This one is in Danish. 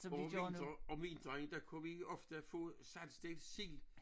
Og om vinter om vinteren der kunne vi ofte få saltstegt sild